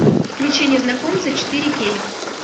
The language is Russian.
включи незнакомцы четыре кей